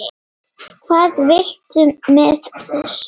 Hvað viltu með þessu?